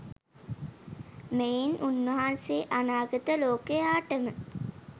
මෙයින් උන්වහන්සේ අනාගත ලෝකයාටම